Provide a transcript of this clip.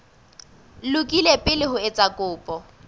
lokile pele o etsa kopo